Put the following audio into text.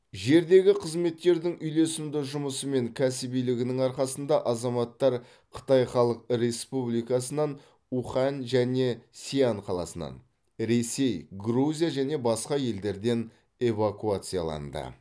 жердегі қызметтердің үйлесімді жұмысы мен кәсібилігінің арқасында азаматтар қытай халық республикасынан ухань және сиань қаласынан ресей грузия және басқа елдерден эвакуацияланды